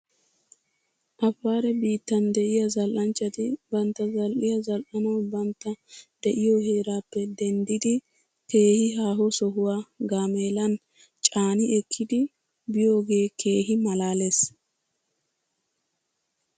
Afaare biittan de'iyaa zal'anchchati bantta zal'iyaa zal'anaw bantta de'iyoo heeraappe denddidi keehi haaho sohuwaa gaameelan caani ekkidi biyoogee keehi malaales